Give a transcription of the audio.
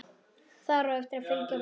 Þar á eftir fylgja rússar.